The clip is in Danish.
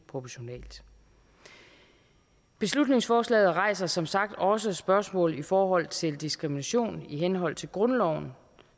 proportionalt beslutningsforslaget rejser som sagt også spørgsmål i forhold til diskrimination i henhold til grundloven